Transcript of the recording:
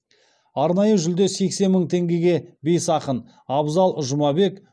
арнайы жүлде сексен мың теңгеге бес ақын абзал жұмабек